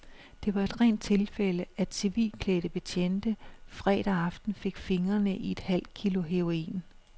Det var et rent tilfælde, at civilklædte betjente fredag aften fik fingrene i et halvt kilo heroin.